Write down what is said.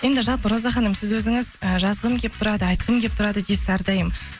енді жалпы роза ханым сіз өзіңіз ыыы жазғым келіп тұрады айтқым келіп тұрады дейсіз әрдайым